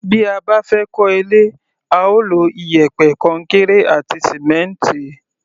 Bí a bá fẹ́ kọ́ ilé, a ó lo iyẹ̀pẹ̀, kọnkéré àti sìmẹ́ǹtì.